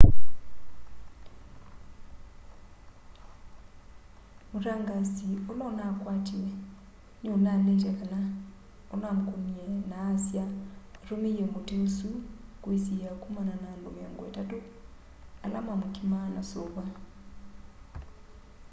mũtangaasi ũla unakwatiwe ni unaleite kana unamkũnie na aasya atũmie mũti ũsũ kwisiia kũmana na andũ miongo itatũ ala mamkimaa na suva